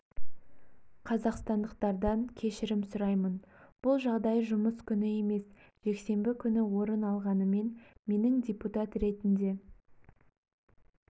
қазақстандықтардан кешірім сұраймын бұл жағдай жұмыс күні емес жексенбі күні орын алғанымен менің депутат ретінде